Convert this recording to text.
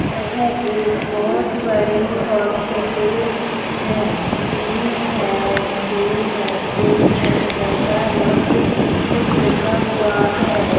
यह एक बहुत बड़ी हॉस्पिटल है बी.एस.सी. नर्सिंग एण्ड ऐसा बहुत कुछ लिखा हुआ है।